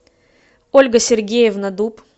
ольга сергеевна дуб